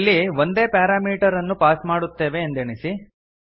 ಇಲ್ಲಿ ಒಂದೇ ಪಾರಾಮೀಟರ್ ಅನ್ನು ಪಾಸ್ ಮಾಡುತ್ತೇವೆ ಎಂದೆಣಿಸಿ